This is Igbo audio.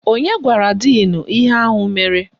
Onye gwara díìnu ihe ahụ mere?